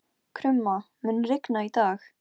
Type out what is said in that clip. Get tórað í hálfan mánuð í viðbót.